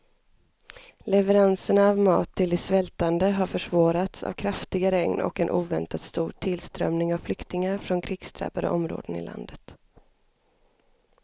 Leveranserna av mat till de svältande har försvårats av kraftiga regn och en oväntat stor tillströmning av flyktingar från krigsdrabbade områden i landet.